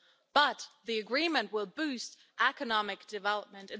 But the agreement will boost economic development.